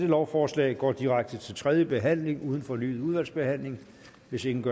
lovforslaget går direkte til tredje behandling uden fornyet udvalgsbehandling hvis ingen gør